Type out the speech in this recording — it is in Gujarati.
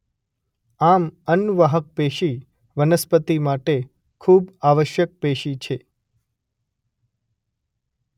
આમ અન્નવાહક પેશી વનસ્પતિ માટે ખૂબ આવશ્યક પેશી છે.